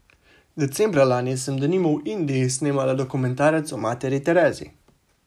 Decembra lani sem denimo v Indiji snemala dokumentarec o materi Terezi.